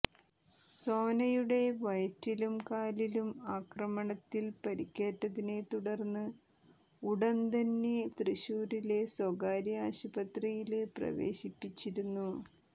സോനയുടെ വയറ്റിലും കാലിലും ആക്രമണത്തിൽ പരിക്കേറ്റതിനെ തുടർന്ന് ഉടന്തന്നെ തൃശ്ശൂരിലെ സ്വകാര്യ ആശുപത്രിയില് പ്രവേശിപ്പിച്ചിരുന്നു